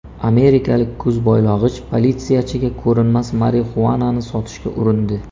Amerikalik ko‘zboylog‘ich politsiyachiga ko‘rinmas marixuanani sotishga urindi .